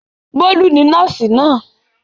Bólú ni nọ́ọ́sì náà.